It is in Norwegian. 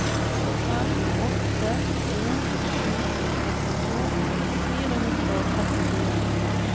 fem åtte en sju førtito fire hundre og trettifire